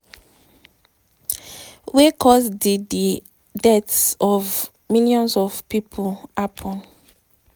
wey cause di di deaths of millions of pipo happen.